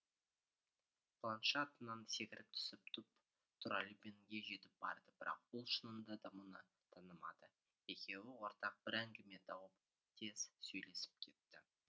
планше атынан секіріп түсіп тұп тура любенге жетіп барды бірақ ол шынында да мұны танымады екеуі ортақ бір әңгіме тауып тез сөйлесіп кетті